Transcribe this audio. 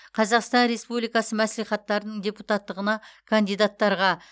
қазақстан республикасы мәслихаттарының депутаттығына кандидаттарға